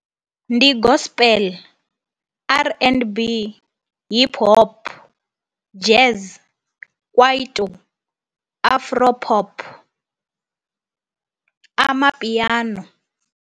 Ndi Gospel, R_n_B, Hip Hop, Jazz, Kwaito, Afro Pop, Amapiano.